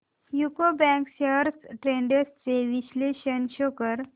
UCO bank shares trends चे विश्लेषण show कर